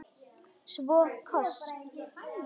Svo koss.